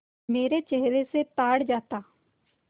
मेरे चेहरे से ताड़ जाता